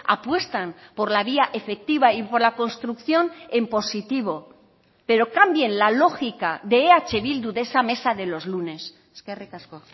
apuestan por la vía efectiva y por la construcción en positivo pero cambien la lógica de eh bildu de esa mesa de los lunes eskerrik asko